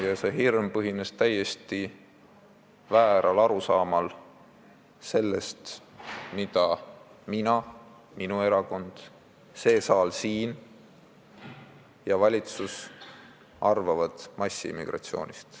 Ja see hirm põhines täiesti vääral arusaamal sellest, mida mina, minu erakond, see saal siin ja valitsus arvavad massimigratsioonist.